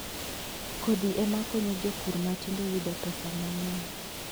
Kodhi ema konyo jopur matindo yudo pesa mang'eny.